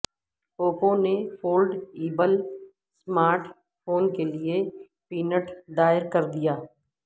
Oppo نے foldable smart phone کے لیے پیٹنٹ دائر کردیا